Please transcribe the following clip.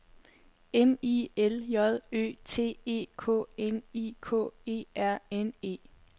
M I L J Ø T E K N I K E R N E